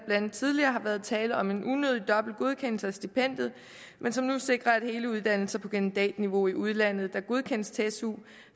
andet tidligere har været tale om en unødig dobbelt godkendelse af stipendiet men som nu sikrer at hele uddannelser på kandidatniveau i udlandet der godkendes til su